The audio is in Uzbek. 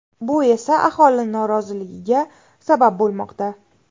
Bu esa aholi noroziligiga sabab bo‘lmoqda.